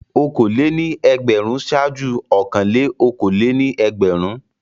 Okòólé-ní-ẹgbẹ̀rún ṣáájú ọ̀kanlé-okòólé-ní-ẹgbẹ̀rún.